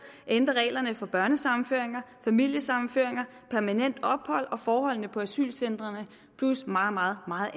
ændre reglerne for børnesammenføringer familiesammenføringer permanent ophold og forholdene på asylcentrene plus meget meget